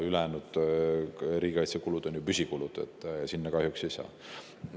Ülejäänud riigikaitsekulud on ju püsikulud, nende jaoks seda kahjuks ei saaks.